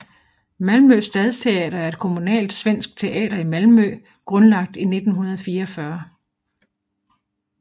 Malmö stadsteater er et kommunalt svensk teater i Malmö grundlagt i 1944